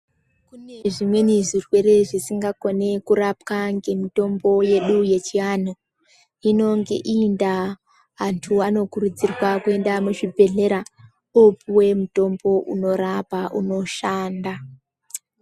Kune zvimweni zvirwere zvisingakoni kurapwa ngemitombo yedu yechiantu hino ngeiyi ndaa antu anokurudzirwe kuenda muzvibhehlera opuwe mutombo unorapa unoshanda.